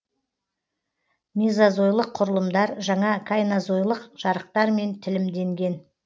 мезозойлық құрылымдар жаңа қайнозойлық жарықтармен тілімденген